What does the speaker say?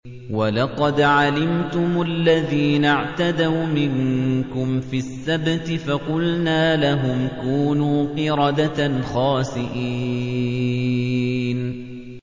وَلَقَدْ عَلِمْتُمُ الَّذِينَ اعْتَدَوْا مِنكُمْ فِي السَّبْتِ فَقُلْنَا لَهُمْ كُونُوا قِرَدَةً خَاسِئِينَ